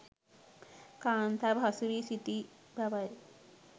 කාන්තාව හසු වී සිටි බවයි.